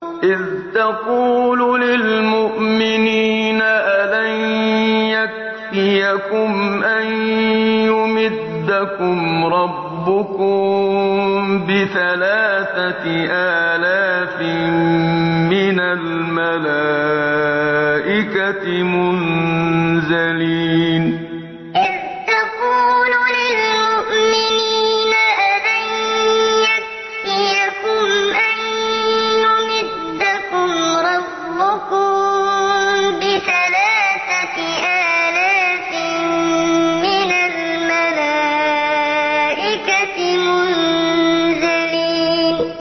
إِذْ تَقُولُ لِلْمُؤْمِنِينَ أَلَن يَكْفِيَكُمْ أَن يُمِدَّكُمْ رَبُّكُم بِثَلَاثَةِ آلَافٍ مِّنَ الْمَلَائِكَةِ مُنزَلِينَ إِذْ تَقُولُ لِلْمُؤْمِنِينَ أَلَن يَكْفِيَكُمْ أَن يُمِدَّكُمْ رَبُّكُم بِثَلَاثَةِ آلَافٍ مِّنَ الْمَلَائِكَةِ مُنزَلِينَ